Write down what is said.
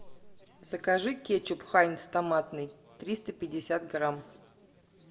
закажи кетчуп хайнц томатный триста пятьдесят грамм